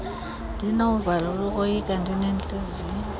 ndinovalo lokoyika ndinentiliziyo